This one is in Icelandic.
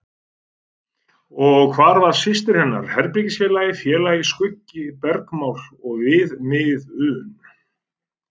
Og hvar var systir hennar, herbergisfélagi, félagi, skuggi, bergmál og viðmiðun?